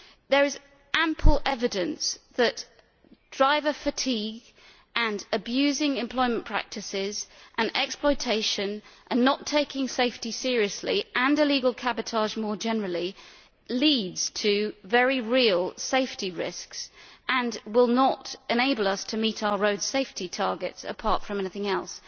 There is ample evidence that driver fatigue and abusive employment practices and exploitation, not taking safety seriously, and illegal cabotage more generally, lead to very real safety risks and will not enable us to meet our road safety targets apart from anything else.